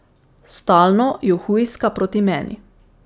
Stalno ju hujska proti meni.